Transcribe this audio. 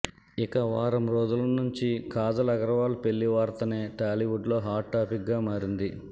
ఇక వారం రోజుల నుంచి కాజల్ అగర్వాల్ పెళ్లి వార్తనే టాలీవుడ్లో హాట్ టాపిక్గా మారింది